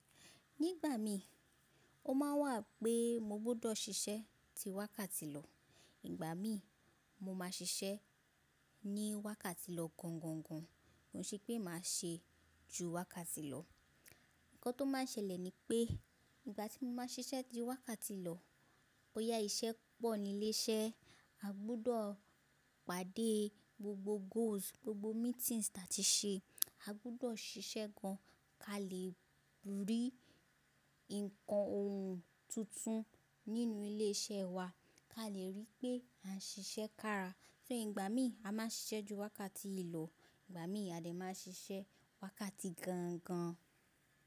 Ní ìgbà mí o máa wà pé mo gbọ́dọ̀ sisẹ́ ti wákàtí lọ, ìgbà mí mo ma ṣiṣẹ́ ní wákàtí lọ gangan gan. Ó ṣe pé màá ṣe ju wákàtí lọ. Ǹkan tó máa ń ṣẹlẹ̀ ni pé ìgbà tí mo máa ń ṣiṣẹ́ ti wákàtí lọ, bóyá iṣẹ́ pọ̀ ní ilé iṣẹ́, a gbọ́dọ̀ pàdé gbogbo goals, gbogbo meetings ta ti ṣe, a gbọ́dọ̀ ṣiṣẹ́ gan ká lè rí nǹkan ohun tuntun nínú ilé iṣẹ́ wa, ká lè rí pé a ń ṣiṣẹ́ kára. So ìgbà mí a máa ń ṣiṣẹ́ ju wákàtí ìlò, ìgbà mí a dẹ̀ máa ń ṣiṣẹ́ wákàtí gan gan.